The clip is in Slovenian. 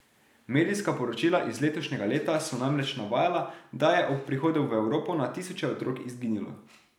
Medijska poročila iz letošnjega leta so namreč navajala, da je ob prihodu v Evropo na tisoče otrok izginilo.